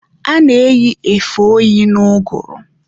A na-eyi efe oyi n'ụgụrụ.